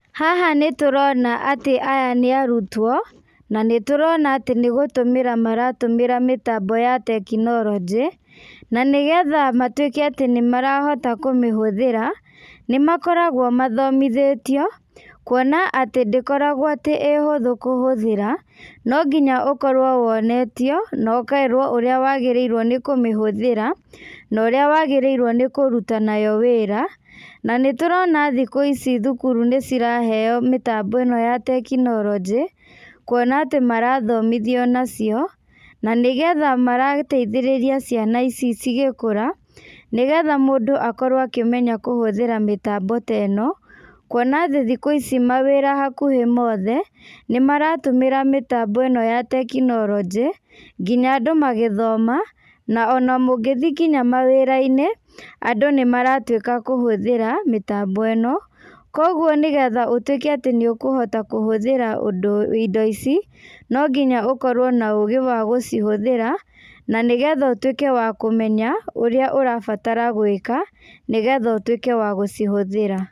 Haha nĩtũrona atĩ aya nĩ arutwo, na nĩtũrona atĩ nĩgũtũmĩra maratũmĩra mĩtambo ya tekinoroji, na nĩgetha matuĩke atĩ nĩmarahota kũmĩhũthĩra, nĩmakoragwo mathomithĩtio, kuona atĩ ndĩkoragwo atĩ ĩ ũhũthũ kũhũthĩra, no nginya ũkorwo wonetio, na ũkerwo ũrĩa wagĩrĩirwo nĩ kũmĩhũthĩra, na ũrĩa wagĩrĩirwo nĩkũruta nayo wĩra, na nĩtũrona thikũ ici thukuru nĩciraheo mĩtambo ĩno ya tekinorojĩ, kuona atĩ marathomithio nacio, na nĩgetha marateithĩrĩria ciana ici cigĩkũra, nĩgetha mũndũ akorwo akĩmenya kũhũthĩra mĩtambo ta ĩno, kuona atĩ thikũ ici mawĩra hakuhĩ mothe, nĩmaratũmĩra mĩtambo ĩno ya tekinorojĩ, nginya andũ magĩthoma, na ona mũngĩthĩ nginya mawĩrainĩ, andũ nĩmaratuĩka a kũhũthĩra, mĩtambo ĩno, koguo nĩgetha ũtuĩke atĩ nĩũkũhota kũhũthĩra ũndũ indo ici, nonginya ũkorwo na ũgĩ wa gũcihũthĩra, na nĩgetha ũtuĩke wa kũmenya, ũrĩa ũrabatara gwĩka, nĩgetha ũtuĩke wa gũcihũthĩra.